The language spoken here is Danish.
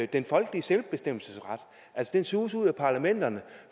den folkelige selvbestemmelsesret den suges ud af parlamenterne